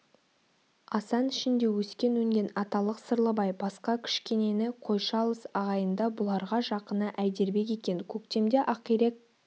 асан ішінде өскен-өнген аталық сырлыбай басқа кішкенені қойшы алыс ағайында бұларға жақыны әйдербек екен көктемде ақирек